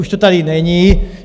Už to tady není.